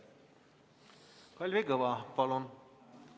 Kalvi Kõva, palun!